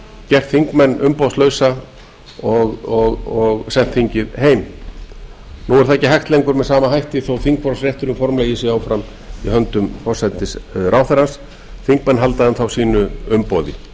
gert þingmenn umboðslausa og sent þingið heim nú er það ekki hægt lengur með sama hætti þó þingrofsrétturinn formlegi sé áfram í höndum forsætisráðherra þingmenn halda enn þá sínu umboði